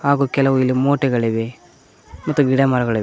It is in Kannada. ಹಾಗೂ ಕೆಲವು ಇಲ್ಲಿ ಮೂಟೆಗಳಿವೆ ಮತ್ತು ಗಿಡ ಮರಗಳಿವೆ.